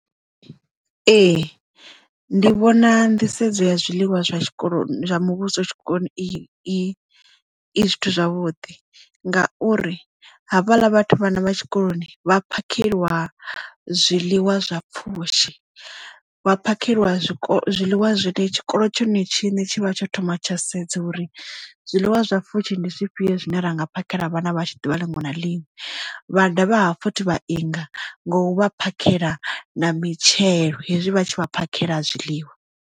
Ee, ndi vhona nḓisedzo ya zwiḽiwa zwa tshikolo zwa muvhuso tshikoloni i i zwithu zwavhuḓi ngauri havhaḽa vhathu vhana vha tshikoloni vha phakheliwa zwiḽiwa zwa pfushi. Vha phakheliwa zwikolo zwiḽiwa zwine tshikolo tsho ne tshiṋe tshi vha tsho thoma tsha sedza uri zwiḽiwa zwa pfushi ndi zwifhio zwine ra nga phakhela vhana vhashu ḓuvha liṅwe na liṅwe vha dovha hafhu futhi vha inga nga u vha phakheliwa na mitshelo hezwi vhatshi vha phakheliwa zwiḽiwa.